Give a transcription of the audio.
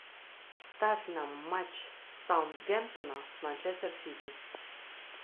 ставь нам матч саутгемптона с манчестер сити